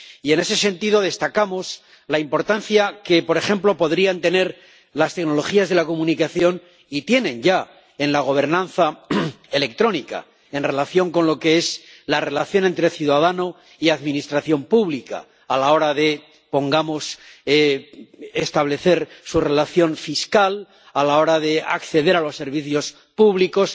Y, en ese sentido, destacamos la importancia que, por ejemplo, podrían tener las tecnologías de la comunicación, y tienen ya en la gobernanza electrónica, en relación con lo que es la relación entre ciudadano y administración pública, a la hora de —pongamos— establecer su relación fiscal, a la hora de acceder a los servicios públicos.